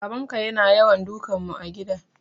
Babanka yana yawan dukan mu a gida